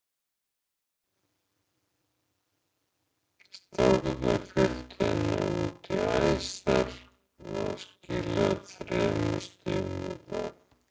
Strákarnir fylgdu henni út í æsar og það skilaði þremur stigum í dag.